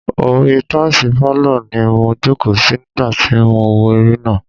Orí i táìsì pálọ̀ ni mo jòkó sí nígbà tí mò ń wo eré náà.